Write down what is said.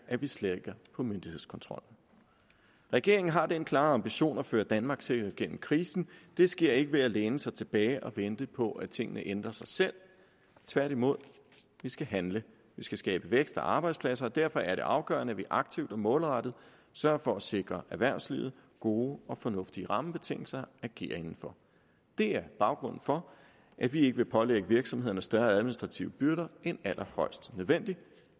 slækker på myndighedskontrollen regeringen har den klare ambition at føre danmark sikkert gennem krisen det sker ikke ved at læne sig tilbage og vente på at tingene ændrer sig selv tværtimod vi skal handle vi skal skabe vækst og arbejdspladser og derfor er det afgørende at vi aktivt og målrettet sørger for at sikre erhvervslivet gode og fornuftige rammebetingelser agere inden for det er baggrunden for at vi ikke vil pålægge virksomhederne større administrative byrder end allerhøjst nødvendigt